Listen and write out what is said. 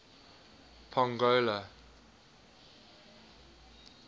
pongola